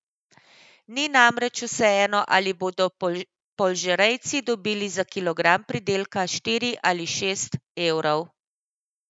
Ni namreč vseeno, ali bodo polžerejci dobili za kilogram pridelka štiri ali šest evrov.